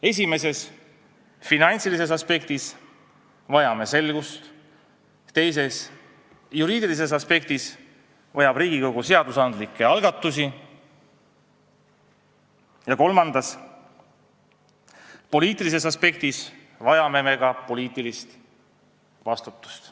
Esimeses ehk finantsilises aspektis vajame selgust, teises ehk juriidilises aspektis vajab Riigikogu seadusandlikke algatusi ja kolmandas ehk poliitilises aspektis vajame me ka poliitilist vastutust.